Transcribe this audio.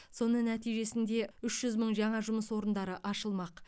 соның нәтижесінде үш жүз мың жаңа жұмыс орындары ашылмақ